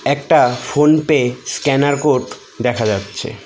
একটা PhonePe scanner code দেখা যাচ্ছে।